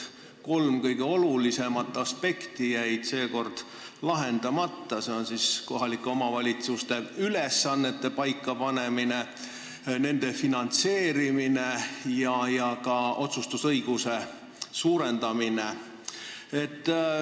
Kolm kõige olulisemat aspekti jäid seekord lahendamata: kohalike omavalitsuste ülesannete paikapanemine, nende finantseerimine ja ka otsustusõiguse suurendamine.